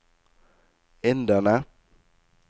inderne